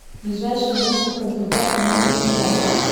ближайший женская консультация номер тринадцать